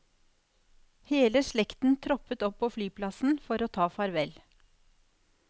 Hele slekten troppet opp på flyplassen for å ta farvel.